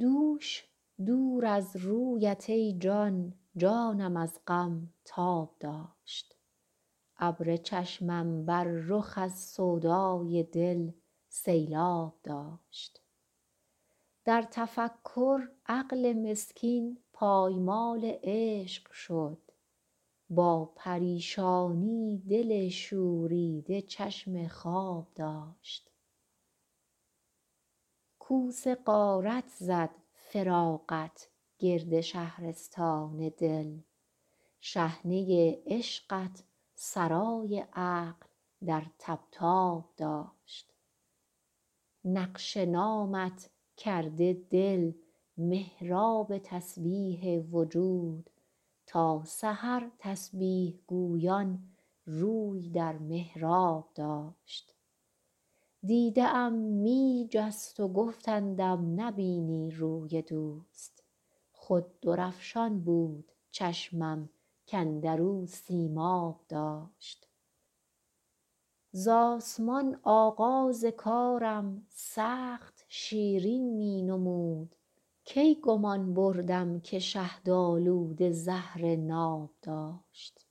دوش دور از رویت ای جان جانم از غم تاب داشت ابر چشمم بر رخ از سودای دل سیلآب داشت در تفکر عقل مسکین پایمال عشق شد با پریشانی دل شوریده چشم خواب داشت کوس غارت زد فراقت گرد شهرستان دل شحنه عشقت سرای عقل در طبطاب داشت نقش نامت کرده دل محراب تسبیح وجود تا سحر تسبیح گویان روی در محراب داشت دیده ام می جست و گفتندم نبینی روی دوست خود درفشان بود چشمم کاندر او سیماب داشت ز آسمان آغاز کارم سخت شیرین می نمود کی گمان بردم که شهدآلوده زهر ناب داشت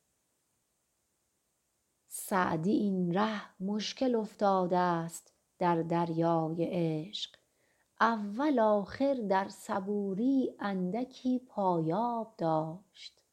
سعدی این ره مشکل افتادست در دریای عشق اول آخر در صبوری اندکی پایاب داشت